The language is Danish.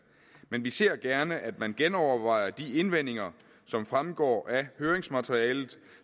men vi ser gerne at man genovervejer de indvendinger som fremgår af høringsmaterialet